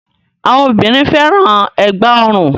Awọn obìnrin fẹ́ràn ẹ̀gbá-ọrùn.